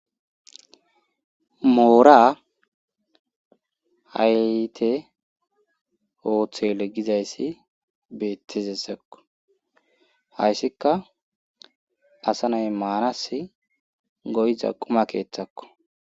moora hayte oothele gizayssi beettizesakko hayssikka asa nay maanas goyza quma keeththakko